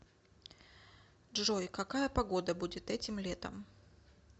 джой какая погода будет этим летом